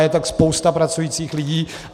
Je to spousta pracujících lidí.